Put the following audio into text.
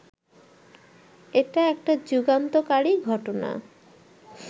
এটা একটা যুগান্তকারী ঘটনা